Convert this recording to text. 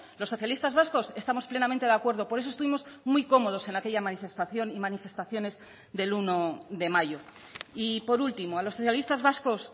los socialistas vascos estamos plenamente de acuerdo por eso estuvimos muy cómodos en aquella manifestación y manifestaciones del uno de mayo y por último a los socialistas vascos